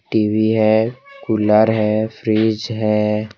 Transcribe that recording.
TV है cooler है fridge है।